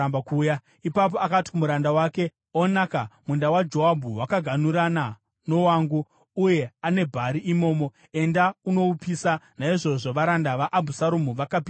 Ipapo akati kumuranda wake, “Onaka, munda waJoabhu wakaganhurana nowangu, uye ane bhari imomo. Enda unoupisa.” Naizvozvo varanda vaAbhusaromu vakapisa munda.